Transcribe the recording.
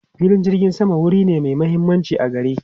Filin jirgin sama wuri ne mai mahimmanci a gari.